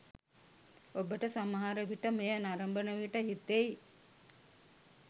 ඔබට සමහරවිට මෙය නරඹන විට හිතෙයි